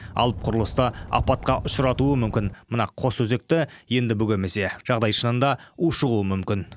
алып құрылысты апатқа ұшыратуы мүмкін мына қос өзекті енді бөгемесе жағдай шынында ушығуы мүмкін